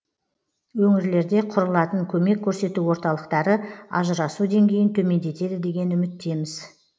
өңірлерде құрылатын көмек көрсету орталықтары ажырасу деңгейін төмендетеді деген үміттеміз